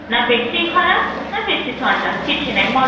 ନା ବେଶୀ ଖରା ନା ବେଶୀ ଥଣ୍ଡା କିଛି ନାଇଁ ମୋ